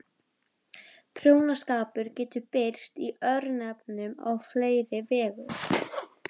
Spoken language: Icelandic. Prjónaskapur getur birst í örnefnum á fleiri vegu.